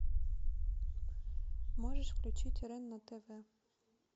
можешь включить рен на тв